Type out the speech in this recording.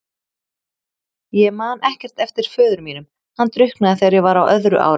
Ég man ekkert eftir föður mínum, hann drukknaði þegar ég var á öðru ári.